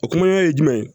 O kumana ye jumɛn ye